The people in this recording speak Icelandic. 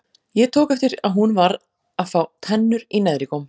Ég tók eftir að hún var að fá tennur í neðri góm.